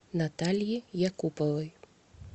наталье якуповой